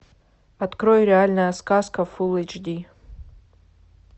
открой реальная сказка фул эйч ди